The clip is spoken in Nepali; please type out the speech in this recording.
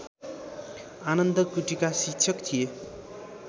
आनन्द कुटीका शिक्षक थिए